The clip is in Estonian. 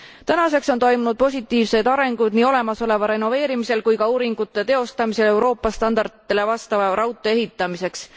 Tänaseks on toimunud positiivsed arengud nii olemasoleva renoveerimisel kui ka uuringute teostamisel Euroopa standarditele vastava raudtee ehitamiseks.